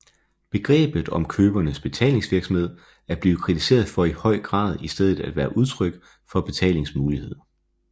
Begrebet om købernes betalingsvillighed er blevet kritiseret for i høj grad i stedet at være udtryk for betalingsmulighed